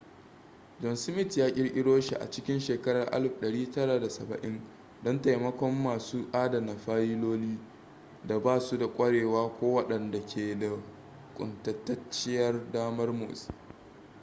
john smith ya kirkiro shi a cikin shekarar 1970 don taimakon masu adana fayiloli da ba su da ƙwarewa ko waɗanda ke da kuntatacciyar damar motsi